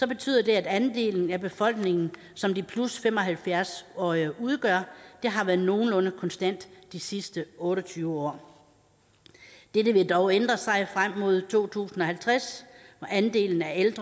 betyder det at andelen af befolkningen som de 75 årige udgør har været nogenlunde konstant de sidste otte og tyve år dette vil dog ændre sig frem mod to tusind og halvtreds andelen af ældre